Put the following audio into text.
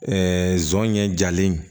Ɛɛ zon ɲɛ jalen